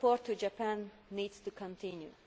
Our support to Japan needs to continue.